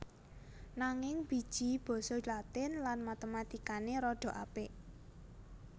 Nanging biji basa Latin lan Matematikane rada apik